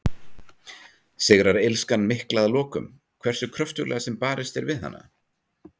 Sigrar illskan mikla að lokum, hversu kröftuglega sem barist er við hana?